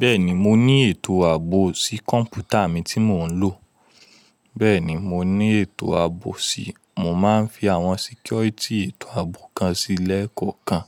Bẹ́ẹ̀ni, mo ní ètò ààbò sí kọ̀ǹpútà mi tí mò ń lò, bẹ́ẹ̀ni, mo ní ètò ààbò sí, mo máa ń fi àwọn security ètò ààbò kan sí lẹ́ẹ̀kọ̀ọ̀kan